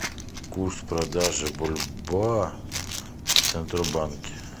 курс продажи бальбоа в центробанке